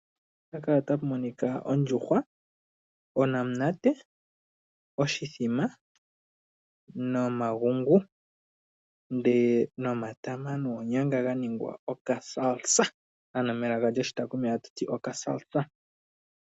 Mpaka otapu monika ondjuhwa, onamunate, oshithima, nomagungu, nde nomatama noonyanga ga ningwa okasalsa ano melaka lyoshitaakumi hatu ti okasalsa.